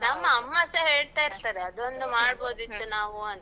ಅಮ್ಮ ಸ ಹೇಳ್ತಾ ಇರ್ತಾರೆ. ಅದೊಂದು ಮಾಡ್ಬೋದಿತ್ತು ನಾವೂ ಅಂತ.